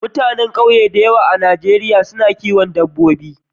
Mutanen ƙauye da yawa a Najeriya su na kiwon dabbobi.